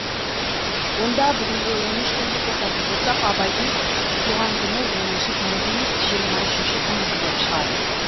онда бүгінгі он үш күнді қосатын болсақ абайдың туған күні оныншы тамыз емес жиырма үшінші тамыз болып шығады